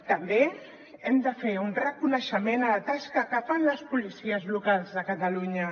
també hem de fer un reconeixement a la tasca que fan les policies locals de catalunya